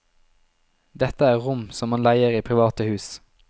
Dette er rom som man leier i private hus.